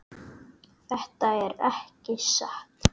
Þetta er ekki satt.